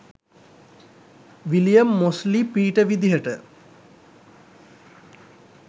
William Mosley Peter විදිහට